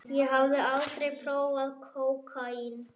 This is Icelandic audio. Ég hafði aldrei prófað kókaín.